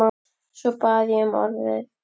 Svo bað ég um orðið.